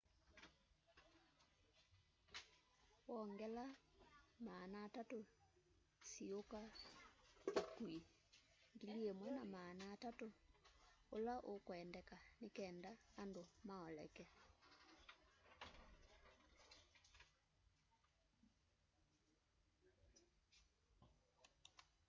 wongela 300 siuka ukui 1,300 ula ukwendeka nikenda andu maoleke